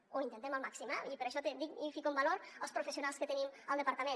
o ho intentem al màxim eh i per això dic i fico en valor els professionals que tenim al departament